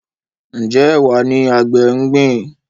Njé Ẹwà ní àgbè ngbin?